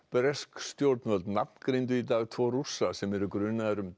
bresk stjórnvöld nafngreindu í dag tvo Rússa sem eru grunaðir um